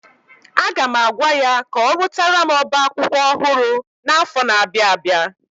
Aga m agwa ya ka ọrụtara m oba akwụkwọ ọhụrụ n'afọ na-abịa abịa.